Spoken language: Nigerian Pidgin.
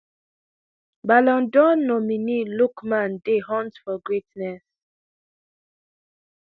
ballon dor nominee lookman dey hunt for greatness